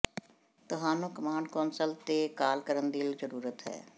ਤੁਹਾਨੂੰ command console ਤੇ call ਕਰਨ ਦੀ ਜ਼ਰੂਰਤ ਹੈ